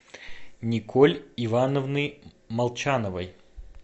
николь ивановны молчановой